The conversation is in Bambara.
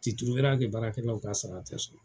baarakɛlaw ka sara te sɔrɔ.